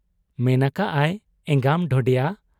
ᱢᱮᱱ ᱟᱠᱟᱜ ᱟᱭ, 'ᱮᱸᱜᱟᱢ ᱰᱷᱚᱰᱮᱭᱟ !